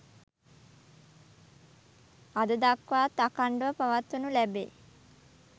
අද දක්වාත් අඛණ්ඩව පවත්වනු ලැබේ.